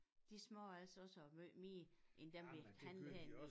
De smager altså også af meget mere en dem vi han havde vi